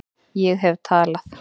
Ég hef talað